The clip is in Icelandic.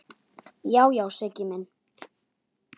Já, já, Siggi minn.